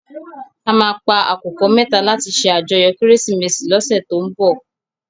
À má pá àkúkò mètá làti sé àjòyò Kérésimési lòsè tó n bò